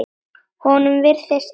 Honum virðist alvara.